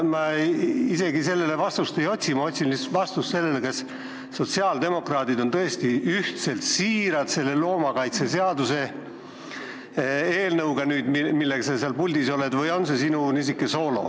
Ma isegi seda vastust ei otsi, ma otsin lihtsalt vastust sellele, kas sotsiaaldemokraadid on tõesti ühtselt siirad selle loomakaitseseaduse eelnõuga, millega sa seal puldis oled, või on see sinu soolo?